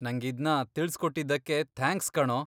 ನಂಗಿದ್ನ ತಿಳ್ಸ್ಕೊಟ್ಟಿದ್ದಕ್ಕೆ ಥ್ಯಾಂಕ್ಸ್ ಕಣೋ.